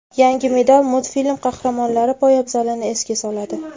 Yangi model multfilm qahramonlari poyabzalini esga soladi.